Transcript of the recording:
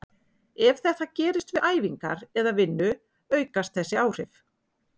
Ef þetta gerist við æfingar eða vinnu aukast þessi áhrif.